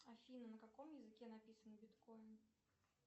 афина на каком языке написан биткоин